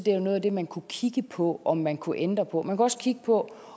er noget af det man kunne kigge på om man kunne ændre på man kunne også kigge på